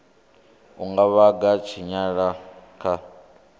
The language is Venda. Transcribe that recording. u nga vhanga tshinyalelo kha